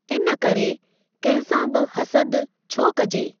इन करे कंहिं सां बि हसदु छो कजे?